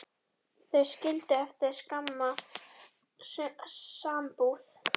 Þau skildu eftir skamma sambúð.